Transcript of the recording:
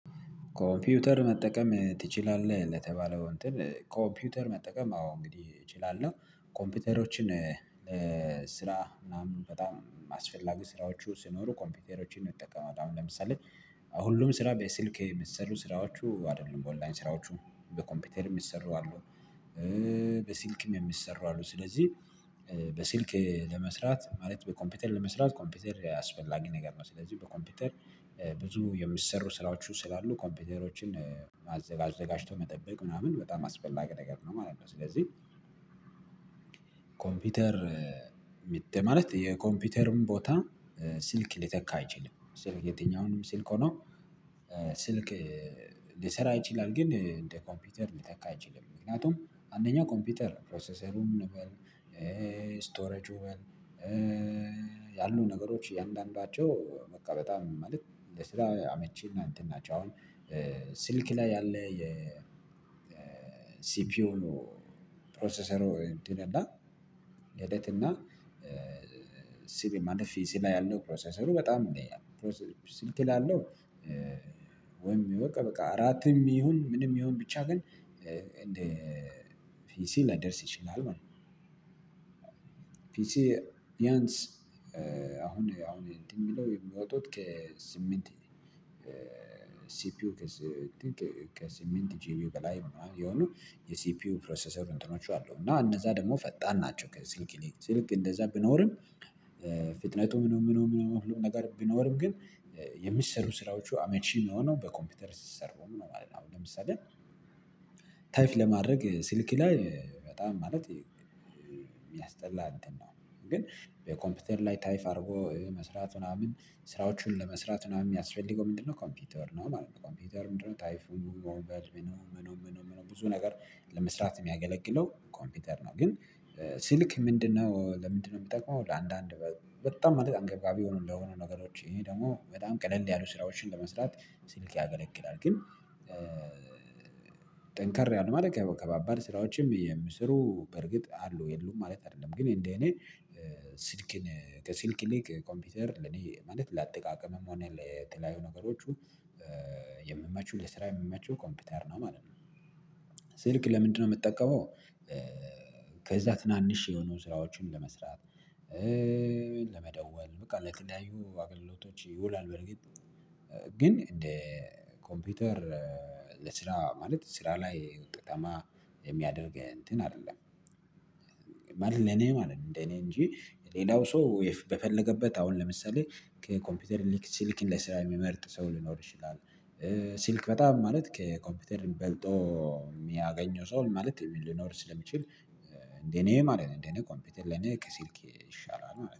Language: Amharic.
ኮምፒውተር መጠቀም ትችላለህ? ለተባለው እንትን ኮምፒውተር መጠቀም አዎ እንግዲህ እችላለሁ ኮምፒውተሮችን ስራ ምናምን በጣም አስፈላጊ ስራዎቹ ሲኖሩ ኮምፒውተሮችን እጠቀማለሁ አሁን ለምሳሌ ሁሉም ስራ በስልክ የሚሰሩ ስራዎቹ አይደሉም ኦንላይን ስራዎቹ በኮምፒውተርም ሚሰሩ አሉ በስልክም የሚሰሩ አሉ ስለዚህ በስልክ ለመስራት ማለት በኮምፒውተር ለመስራት ኮምፒውተር አስፈልጊ ነገር ነው ስለዚህ በኮምፒውተር ብዙ የሚሰሩ ስራዎች ስላሉ ኮምፒውተሮችን አዘጋጅቶ መጠበቅ ምናምን በጣም አስፈላጊ ነገር ነው ማለት ነው ስለዚህ ኮምፒውተር ማለት የኮምፒውተርም ቦታ ስልክ ሊተካ አይችልም ስልክ የትኛውንም ስልክ ሆኖ ስልክ ሊሰራ ይችላል ግን እንደ ኮምፒውተር ሊተካ አይችልም ምክንያቱም አንደኛ ኮምፒውተር ፕሮሰሰሩን በል ስቶሬጁ በል ያሉ ነገሮች እያንዳንዳቸው በቃ በጣም ማለት ለስራ አመቺና እንትን ናቸው አሁን ስልክ ላይ ያለ የሲፒዩ ፕሮሰሰሩ እንትን እና ሂደት እና ማለት ፒሲ ያለው ፕሮሰሰሩ በጣም ይለያል ስልክ ላይ ያለው ወይም በቃ በቃ እራትም ይሁን ምንም ይሁን ብቻ ግን እንደ ፒሲ ላደርስ ይችላል ማለት ነው ፒሲ ቢያንስ አሁን አሁን እንትን ሚለው የሚወጡት ከስምንት ሲፒዩ ከስምንት ጂቢ በላይ በላይ ያሉ የሲፒዩ ፕሮሰሰር እንትኖች አሉ እና እነዛ ደግሞ ፈጣን ናቸው ከስልክ ይልቅ ስልክ እንደዛ ቢኖርም ፍጥነቱ ምኑ ምኑ ምኑ ሁሉ ነገር ቢኖርም ግን የሚሰሩ ስራዎቹ አመቺ ሚሆነው በኮምፒውተር ሲሰሩ ነው ማለት ነው አሁን ለምሳሌ ታይፕ ለማድረግ ስልክ ላይ በጣም ማለት ሚያስጠላ እንትን ነው በኮምፒውተር ላይ ታይፕ አድርጎ መስራት ምናምን ስራዎቹን ለመስራት ምናምን የሚያስፈልገው ምንድነው ኮምፒውተር ነው ማለት ነው ኮምፒውተር ምንድነው ታይፑን በል ምኑ ምኑ ምኑ ብዙ ነገር ለመስራት ሚያገለግለው ኮምፒውተር ነው ግን ስልክ ምንድነው ለምንድነው ሚጠቅመው ለአንዳንድ በ በጣም አንገብጋቢ ለሆኑ ነገሮች ደግሞ በጣም ቀለል ያሉ ስራዎችን ለመስራት ስልክ ያገለግላል ግን ጠንከር ያለ ማለት ከባባድ ስራዎችም የሚሰሩ በርግጥ አሉ የሉም ማለት አይደለም ግን እንደኔ ስልክን ከስልክ ይልቅ ኮምፒውተር ለኔ ማለት ለአጠቃቀምም ሆነ ለተለያዩ ነገሮቹ ለስራ የሚመቸው ኮምፒውተር ነው ማለት ነው ስልክ ለምንድነው የምትጠቀመው ከዛ ትናንሽ የሆኑ ስራዎችን ለመስራት ኮምፒውተር መጠቀም ትችላለህ ለተባለው እንትን ኮምፒውተር መጠቀም አዎ እንግዲህ እችላለሁ ኮምፒውተሮችን ለስራ ምናምን በጣም አስፈላጊ ስራዎቹ ስኖሩ ኮምፒውተሮችን ነው የሚጠቀመው አሁን ለምሳሌ ሁሉም ስራ በስልኬ የሚሰሩ ስራዎቹ አይደሉም ኦንላይን ስራዎቹ በኮምፒውተርም ይሰራሉ ኮምፒውተር መጠቀም ትችላለህ ለተባለው እንትን ኮምፒውተር መጠቀም አዎ እንግዲህ እችላለሁ ኮምፒውተሮችን ለስራ ምናምን በጣም አስፈላጊ ስራዎቹ ስኖሩ ኮምፒውተሮችን ነው የሚጠቀመው አሁን ለምሳሌ